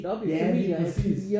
Ja lige præcis